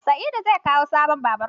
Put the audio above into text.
Sa'idu zai kawo sabon babur.